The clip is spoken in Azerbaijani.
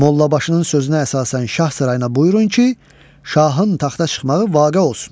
Mollabaşının sözünə əsasən şah sarayına buyurun ki, şahın taxta çıxmağı vaqe olsun.